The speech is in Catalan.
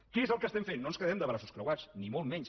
què és el que fem no ens quedem de braços creuats ni molt menys